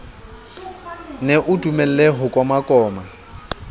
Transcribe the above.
nne o dulele ho komakoma